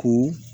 Ko